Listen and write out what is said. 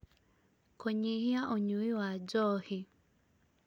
kũnyihia ũnyui wa njohi